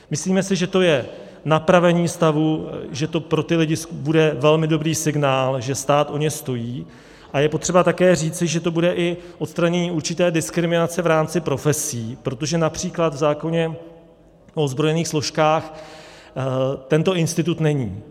Myslíme si, že to je napravení stavu, že to pro ty lidi bude velmi dobrý signál, že stát o ně stojí, a je potřeba také říci, že to bude i odstranění určité diskriminace v rámci profesí, protože například v zákoně o ozbrojených složkách tento institut není.